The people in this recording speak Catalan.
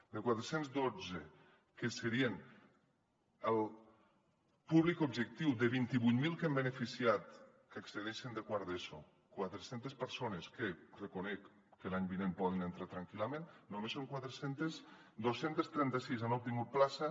de quatre cents i dotze que serien el públic objectiu de vint vuit mil que hem beneficiat que hi accedeixen de quart d’eso quatre centes persones que reconec que l’any vinent poden entrar tranquil·lament només són quatre centes dos cents i trenta sis n’han obtingut plaça